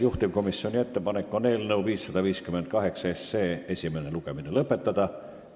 Juhtivkomisjoni ettepanek on eelnõu 558 esimene lugemine lõpetada.